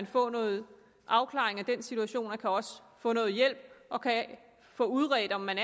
få noget afklaring af den situation og og kan få udredt om man